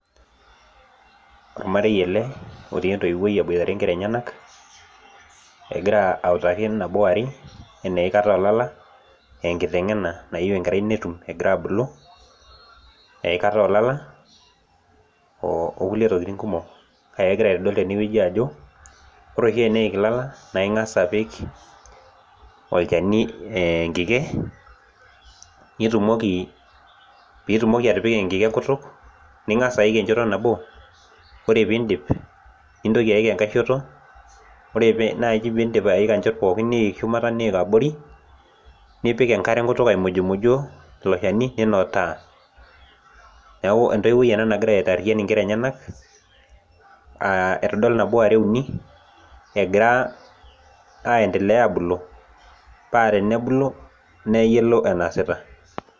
Olmarei ele, otii entoiwoi aboitare inkera enyanak, ekira autaki nabo ware, enaa eikata oolala, aa enkitengena nayieu enkerai netum ekira abulu, eikata oolala okulie tokitin kumok. Kake ekira aitodolu tene wueji ajo, wore oshi teniik ilala, naa ingas apik olchani enkike, pee itumoki atipika enkike enkutuk, ningas aik enchoto nabo, wore pee iindip, nintoki aik enkae shoto, wore naaji pee indip aika inchot pookin niik shumata niik abori, nipik enkare enkutuk aimujumuji ilo shani ninotaa. Neeku entoiwoi ena nakira aitaarian inkera enyanak, aitodol nabo ware uni, ekira aendelea aabulu, paa tenebulu, neyiolo enaasita.